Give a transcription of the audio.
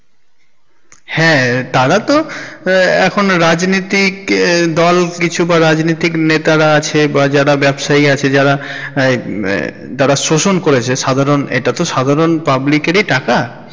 হ্যাঁ তারা তো এহঃ এখন তো রাজনীতিক দোল কিছু বা রাজনীতিক নেতারা আছে বা যারা ব্যাবসায়ী আছে যারা হমম এহঃ যারা শোসন করেছে সাধারণ, এটা তো সাধারণ public এরই টাকা।